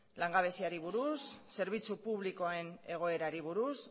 langabeziari buruz zerbitzu publikoen egoerari buruz